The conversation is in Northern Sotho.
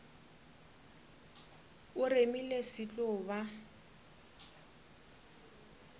o remile se tlo ba